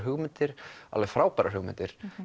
hugmyndir alveg frábærar hugmyndir